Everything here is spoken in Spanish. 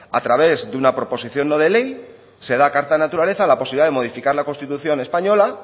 a través de una prospección no de ley se da carta naturaleza a la posibilidad de modificar la constitución española